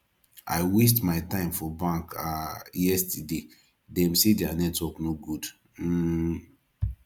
i waste my time for bank um yesterday dem say their network no good um